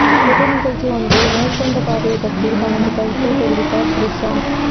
பொது நிகழ்ச்சி ஒன்றில் நேர்கொண்ட பார்வை பற்றி தனது கருத்தை தெரிவித்தார் த்ரிஷா